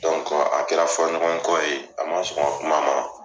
a kɛra fɔnɲɔgɔn kɔ ye a man sɔn n ka kuma ma.